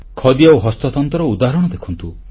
ଖଦି ଆଉ ହସ୍ତତନ୍ତର ଉଦାହରଣ ଦେଖନ୍ତୁ